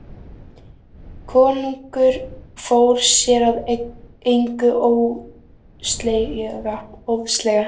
Konungur fór sér að engu óðslega.